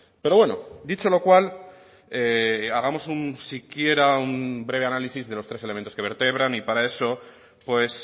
pero bueno dicho lo cual hagamos un siquiera un breve análisis de los tres elementos que vertebran y para eso pues